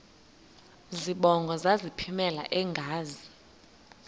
zibongo zazlphllmela engazi